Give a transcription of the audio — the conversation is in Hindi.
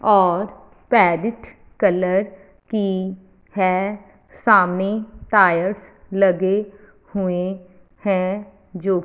और पैरोट कलर की है सामने टायर्स लगे हुए हैं जो--